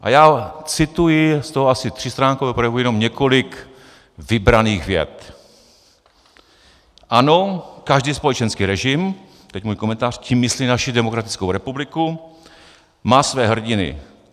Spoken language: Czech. A já cituji z toho asi třístránkového projevu jenom několik vybraných vět: "Ano, každý společenský režim" - teď můj komentář, tím myslí naši demokratickou republiku - "má své hrdiny.